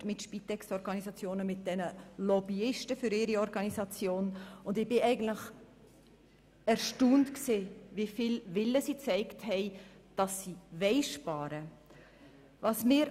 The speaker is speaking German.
Ich habe mit Spitexorganisationen und ihren Lobbyisten diverse Gespräche geführt und war erstaunt, wie viel Wille sie gezeigt haben, sparen zu wollen.